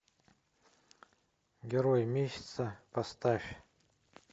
герой месяца поставь